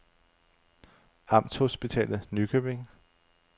Amtshospitalet Nykøbing